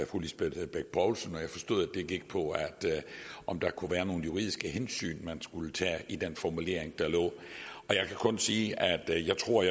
fru lisbeth bech poulsen og jeg forstod at det gik på om der kunne være nogle juridiske hensyn man skulle tage i den formulering der lå og jeg kan kun sige at jeg tror